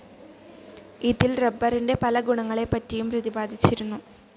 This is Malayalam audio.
ഇതിൽ റബ്ബറിൻ്റെ പല ഗുണങ്ങളെപ്പറ്റിയും പ്രതിപാദിച്ചിരിരുന്നു.